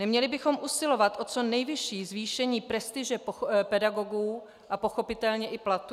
Neměli bychom usilovat o co nejvyšší zvýšení prestiže pedagogů a pochopitelně i platů?